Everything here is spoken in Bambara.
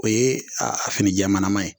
O ye a finijɛmalama ye.